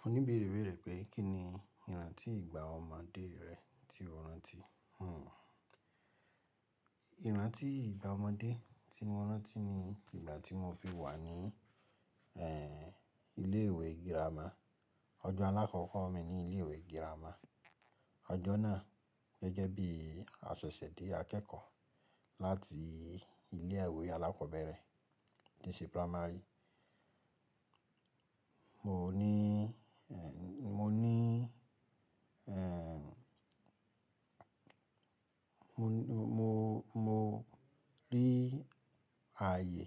Mo níbéèrè berẹ pé kí ni ìrántí ìgbà ọmọdé rẹ tí o rántí? Hmmm ìrántí ìgbà ọmọdé tí mo rántí ni ìgbà tí mo fi wà ní eh ilé ìwé girama. Ọjọ́ alákọ́kọ́ mi ní ilé ìwé girama. Ọjọ́ náà gẹ́gẹ́ bí a ṣẹ̀ṣẹ̀ dé akẹ́kọ̀ọ́ láti ilé ìwé alákọ̀ọ́bẹ̀rẹ̀ tí ṣe primary. Mò ní eh mo ní eh mo, mo, mo rí ààyè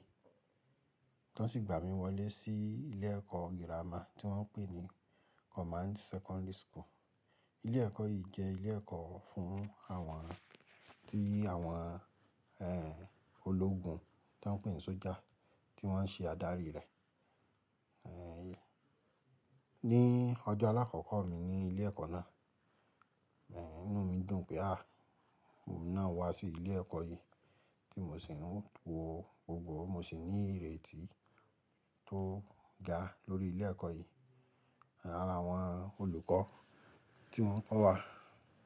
tó sì gbà mí wọlé sí ilé ẹ̀kọ́ girama tí wọ́n ń pè ní Command Secondary School. Ilé ẹ̀kọ́ yìí jẹ́ ilé ẹ̀kọ́ fún àwọn tí àwọn eh ológun tí wọ́n ń pè ní sójà tí wọ́n ṣe adarí rẹ̀. Eh ní ọjọ́ alákọ́kọ́ mi ní ilé ẹ̀kọ́ náà, eh inú mi dùn pé a, mo emi náà wá sí ilé ẹ̀kọ́ yìí kí mo sì wo gbogbo. Mo sì ní ìrètí tó ga lórí ilé ẹ̀kọ́ yìí. Ara àwọn olùkọ́ tí wọ́n kọ́ wa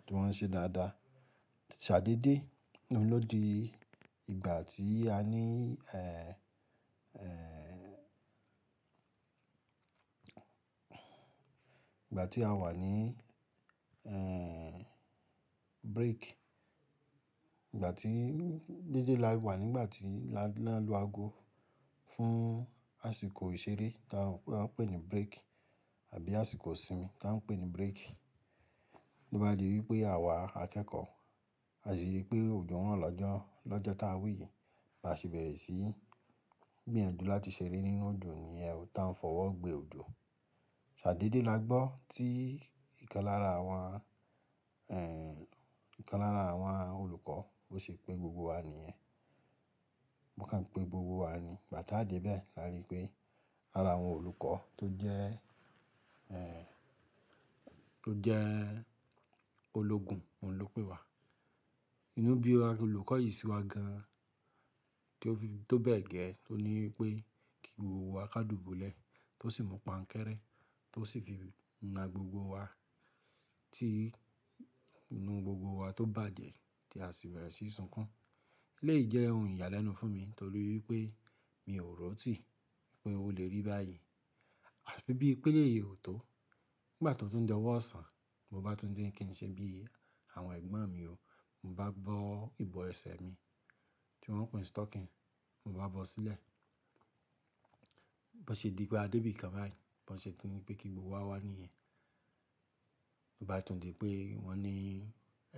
tí wọ́n ṣe dáadáa. Ṣàdédé, inú mi lòdi ìgbà tí a ní eh, eh ìgbà tí a wà ní eh break. Ìgbà tí dédé la wà nígbà tí la ń lu ago fún àsìkò ìṣeré tá ń pè ní break àbí àsìkò ìsinmi tá ń pè ní break. Lo bá di wípé àwa akẹ́kọ̀ọ́ a sì rí pé òjò ro lọ́jọ́ lọ́jọ́ tá wi yí la sì bẹ̀rẹ̀ sí gbìyànjú láti ṣeré nínú òjò níye o tá ń fọwọ́ gbé òjò. Ṣàdédé la gbọ́ tí ìkan lára àwọn eh ìkan lára àwọn olùkọ́ bó ṣe pé gbogbo wa ni ẹ́. Wọn kàn pé gbogbo wa ni, 'gba ta de bẹ́ la rí pé ara àwọn olùkọ́ tó jẹ́ eh tó jẹ́ ológun oun ló pè wa. Inú bí olùkọ́ yìí ṣi wa gan-an tí ó fi tó bẹ́ẹ̀ gẹ́ ẹ, tó ní wípé kí gbogbo wa ká dùbúlẹ̀ tó sì mú paǹkẹ́rẹ́ tó sì fi na gbogbo wa tí inú gbogbo wa tó bàjẹ́ tí a sì bẹ̀rẹ̀ sí sunkun. Eleyi jẹ́ ohun ìyàlẹ́nu fún mi torí pé mi ò ro ti pé ó lè rí báyìí. Àfi bí i pé eyi ò tó. Nígbà tó tún di owó ọ̀sán, mo bá tún ní kín ṣe bí àwọn ẹ̀gbọ́n mi ó. Mo bá bọ ìbọ ẹsẹ̀ mi tí wọ́n ń pè ní stocking, mo bá bọ ó sílẹ̀. Bọ́ ṣe di pé a dé bí kan bayi, bọ́ ṣe tún ni pé kí gbogbo wa wá ní è. Mo bá tún di pé wọ́n ní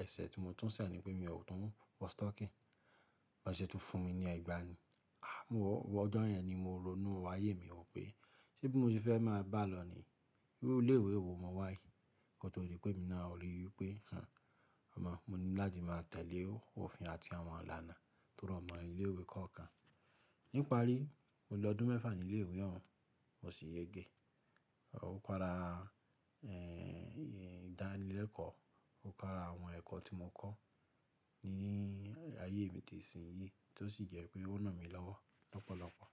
ẹsẹ̀ tí mo tún ṣàn ni pé mi ò tún wọ stocking. Wọ́n ṣe tún fún mi ní ẹgba ni. Ah mo wọ̀ ọjọ́ yẹn ni mo ronú ààyè mi wò pé ṣe bí mo ti fẹ́ máa bá a lọ̀ ní irú ilé ìwé wo mo wà yìí. Ko to di rí pé emi náà ò rí i wípé hanh ọmọ mo ní láti máa tẹ̀lé ó òfin àti àwọn ilànà tó rọ̀mọ́ ní ilé ìwé kọ̀ọ̀kan. Níparí, mo lọ ọdún mẹ́fà ní ilé ìwé náà, mo sì yege. Ó kára eh ìdánilẹ́kọ̀ọ́, ó kára àwọn ẹ̀kọ́ tí mo kọ́ ní ayé mi tò sì ń yé tí ó sì jẹ́ pé ó ranmí lọ́wọ́ lọ́pọ̀lọ́pọ̀.